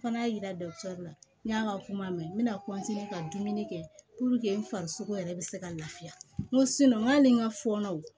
Fana y'a yira la n y'a ka kuma mɛn n me na ka dumuni kɛ n farisogo yɛrɛ bɛ se ka lafiya n ko n ko hali ni n ka fɔɔnɔ